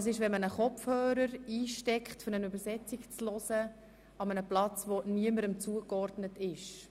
Das geschieht offenbar, wenn man einen Kopfhörer an einem Platz einsteckt, der niemandem zugeordnet ist.